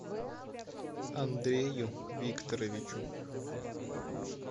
андрею викторовичу